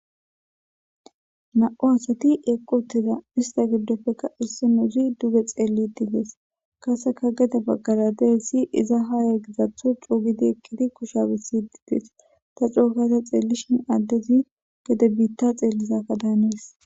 Nam77u asati eqqi uttiza estta giddoppekka issinnozi duge xeelli uttides. Qaasseka gede baggara dizayssi iza haya gidatho eqqidi kushiya bessidi dees. Ta coo gada xeelishin addezi gede biitta xeellizakka daanes.